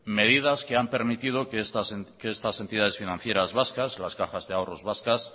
medidas que han permitido que estas entidades financieras vascas las cajas de ahorros vascas